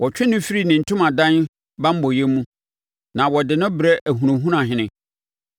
Wɔtwe no firi ne ntomadan banbɔeɛ mu na wɔde no brɛ ahunahunahene.